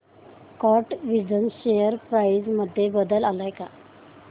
कॅटविजन share price मध्ये बदल आलाय का